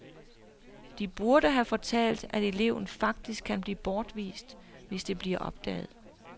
De burde have fortalt, at eleven faktisk kan blive bortvist, hvis det bliver opdaget.